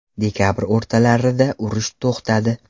Dekabr o‘rtalarida urush to‘xtadi.